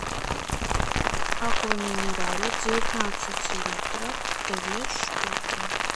аква минерале девятнадцать литров две штуки